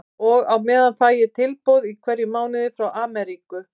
Og á meðan fæ ég tilboð í hverjum mánuði frá Amríku.